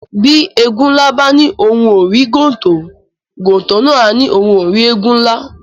Bi Ēēgun nla ba ni ohùn o ri gontò, gontò na a ni ohùn o ri Ēēgun nla